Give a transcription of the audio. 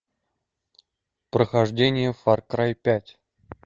прохождение фар край пять